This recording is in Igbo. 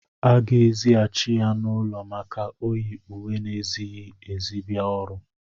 A ga-èzigháchị ya n'ụlọ maka o yị ùwé na-ezịghị ezi bia ọrụ